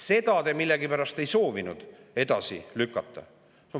Seda te millegipärast ei soovinud edasi lükata.